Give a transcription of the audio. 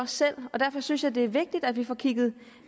selv og derfor synes jeg det er vigtigt at vi får kigget